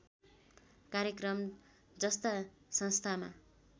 कार्यक्रम जस्ता संस्थामा